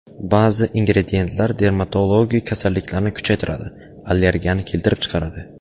Ba’zi ingrediyentlar dermatologik kasalliklarni kuchaytiradi, allergiyani keltirib chiqaradi.